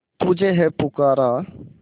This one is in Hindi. तुझे है पुकारा